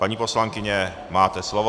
Paní poslankyně, máte slovo.